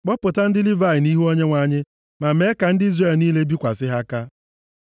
Kpọpụta ndị Livayị nʼihu Onyenwe anyị, ma mee ka ndị Izrel niile bikwasị ha aka ha.